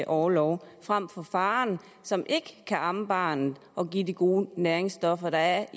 orlov frem for faderen som ikke kan amme barnet og give de gode næringsstoffer der